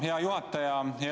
Hea juhataja!